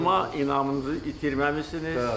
Amma inamınızı itirməmisiniz.